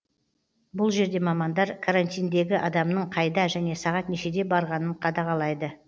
бұл жерде мамандар карантиндегі адамның қайда және сағат нешеде барғанын қадағалайды